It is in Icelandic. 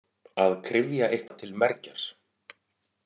Að kryfja eitthvað til mergjar